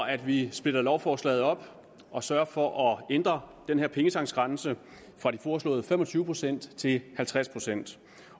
at vi splitter lovforslaget op og sørger for at ændre ændre pengetanksgrænsen fra de foreslåede fem og tyve procent til halvtreds procent